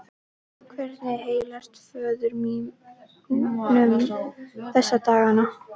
Hvernig heilsast föður mínum þessa dagana?